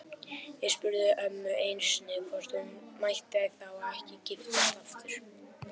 Ég spurði ömmu einu sinni hvort hún mætti þá ekki giftast aftur.